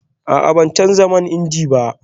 A'a, ban canza man inji ba